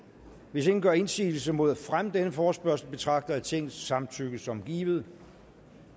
hvis ingen gør indsigelse mod fremme af denne forespørgsel betragter jeg tingets samtykke som givet